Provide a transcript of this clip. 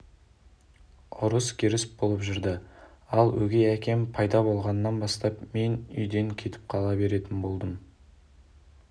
ұрыс-керіс болып жүрді ал өгей әкем пайда болғаннан бастап мен үйден кетіп қала беретін болдым